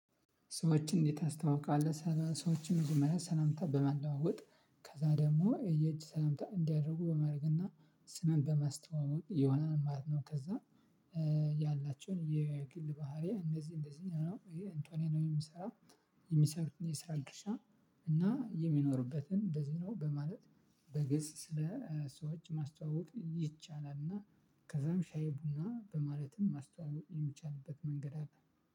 ሰዎችን እንዴት ታስተዋውቃለህ ሰዎችን መጀመርያ ሰላምታ በመለዋወጥ ከዛ ደግሞ የየእጅ ሰላምታ እንዲያደርጉ በማድረግና ስምን በማስተዋወቅ የሆናል ማለት ነው። ከዛ ያላቸውን የግል ባህሪ እነዚህ እንደዚህ ነው ይህ እንቶኔ ነው የሚሰራ። የሚሰሩት የሰራ ድርሻ እና የሚኖሩበትን እንደዚህ ነው በማለት በግልጽ ስለ ሰዎች ማስተዋወቅ ይቻላል። እና ከዛም ሻይ ቡና በማለትም ማስተዋወቅ የሚቻልበት መንገድ አለ።